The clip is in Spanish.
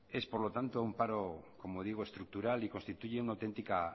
es por lo tanto como digo un paro estructural y constituye una auténtica